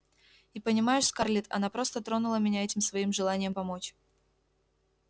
и понимаешь скарлетт она просто тронула меня этим своим желанием помочь